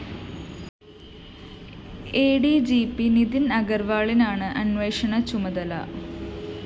അ D G P Nitin‍ അഗര്‍വാളിനാണ് അന്വേഷണ ചുമതല